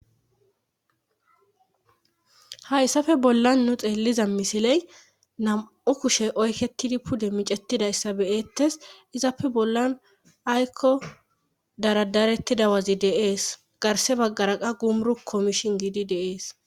Hayssafe bollan nu xeelliza misiley nam'o kushe oyketidi pude micetidayssa beyettes izappe bollan aykko daradarettidawazi deees garse baggara qa gumru komishin giidi deees.